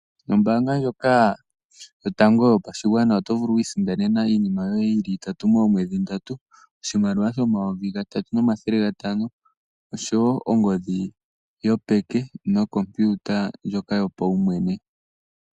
Noombaanga ndjoka yotango yopashingwana otovulu okwiisindanena iinima yoye yili itatu moomwedhi dhili ndatu, oshimaliwa shomayovi gatatu nomathele gatano, oshowo ongodhi yopeke nokompiyuta yoye pawumwene.